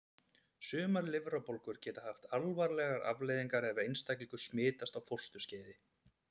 Sumar lifrarbólgur geta haft alvarlegar afleiðingar ef einstaklingur smitast á fósturskeiði.